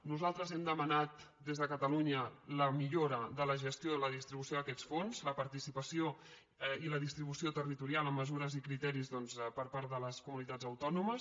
nosaltres hem demanat des de catalunya la millora de la gestió i la distribució d’aquests fons la partici·pació i la distribució territorial amb mesures i criteris doncs per part de les comunitats autònomes